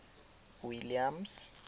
williams